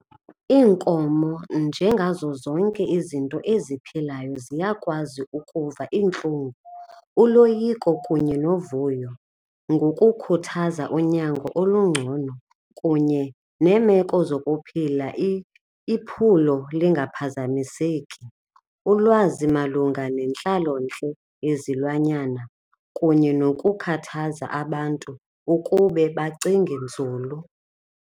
Iinkomo nje ngazo zonke izinto eziphilayo ziyakwazi ukuva iintlungu, uloyiko kunye novuyo ngokukhuthaza unyango olungcono kunye neemeko zokuphila iphulo lingaphazamiseki. Ulwazi malunga nentlalontle yezilwanyana kunye nokukhathaza abantu ukube bacinge nzulu.